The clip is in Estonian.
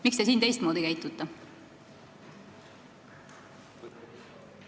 Miks te siin teistmoodi käitute?